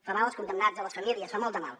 fa mal als condemnats a les famílies fa molt de mal